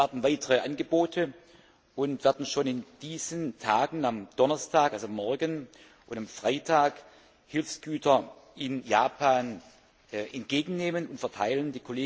Wir erwarten weitere Angebote und werden schon in diesen Tagen, am Donnerstag, also morgen, und am Freitag Hilfsgüter in Japan entgegennehmen und verteilen.